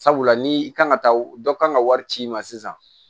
Sabula ni i kan ka taa dɔ ka kan ka wari ci i ma sisan